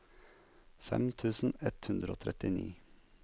fem tusen ett hundre og trettini